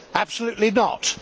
Absolutely not.